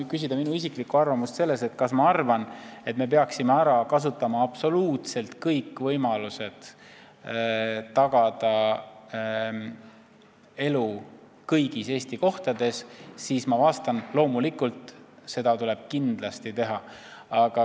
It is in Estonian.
Kui küsida minu isiklikku arvamust selle kohta, kas ma arvan, et me peaksime ära kasutama absoluutselt kõik võimalused tagamaks elu kõigis Eesti kohtades, siis ma vastan: loomulikult, seda tuleb kindlasti teha.